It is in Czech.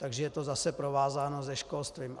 Takže je to zase provázáno se školstvím.